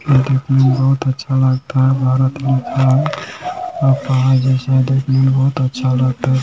ये देखने में बहुत अच्छा लगता है भारत लिखा है और पहाड़ जैसा देखने में अच्छा लगता है।